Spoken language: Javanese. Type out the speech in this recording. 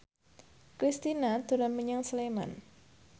Kristina dolan menyang Sleman